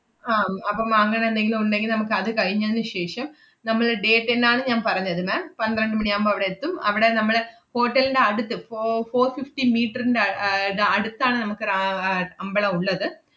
ആഹ് അപ്പം അങ്ങനെന്തെങ്കിലും ഉണ്ടെങ്കി നമ്മക്കത് കഴിഞ്ഞതിനു ശേഷം നമ്മള് day ten ആണ് ഞാൻ പറഞ്ഞത് ma'am പന്ത്രണ്ട് മണിയാവുമ്പ അവടെ എത്തും. അവടെ നമ്മള് hotel ന്‍റെ അടുത്ത് fo~ four fifteen meter ന്‍റെ അഹ് ആഹ് ന~ അടുത്താണ് നമുക്ക് രാ~ ആഹ് അമ്പളം ഉള്ളത്.